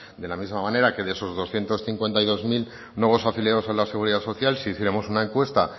de las misma manera que de esos doscientos cincuenta y dos mil nuevos afiliados a la seguridad social si hiciéramos una encuesta